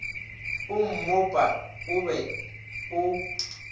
o mmopa o be o